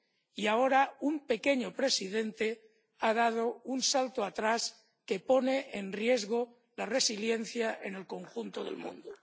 Y, ahora, un pequeño presidente ha dado un salto atrás que pone en riesgo la resiliencia en el conjunto del mundo.